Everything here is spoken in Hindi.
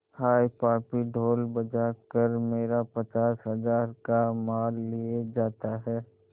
हाय पापी ढोल बजा कर मेरा पचास हजार का माल लिए जाता है